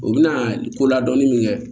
U bɛna ko ladɔnni min kɛ